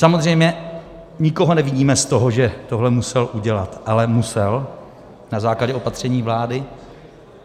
Samozřejmě nikoho neviníme z toho, že tohle musel udělat, ale musel na základě opatření vlády.